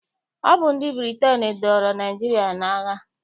Ọ bụ ndị Britain dọọrọ Naịjirịa n'agha.